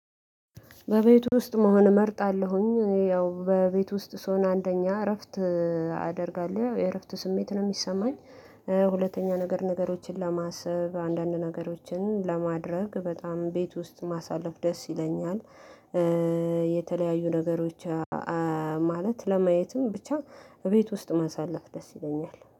በቤት ውስጥ መሆን እመርጣለሁኝ ያው በቤት ውስጥ ስሆን አንደኛ እረፍት አደርጋለሁ የእረፍት ስሜት ነው የሚሰማኝ። ሁለተኛ ነገር ነገሮችን ለማሰብ አንዳንድ ነገሮችን ለማድረግ በጣም ቤት ውስጥ ማሳለፍ ደስ ይለኛል። የተለያዩ ነገሮች። ማለት ለማየትም ብቻ እቤት ውስጥ ማሳለፍ ደስ ይለኛል